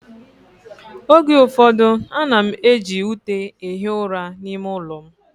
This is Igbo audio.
Oge ụfọdụ, ana m eji ute ehi ụra n'ime ụlọ m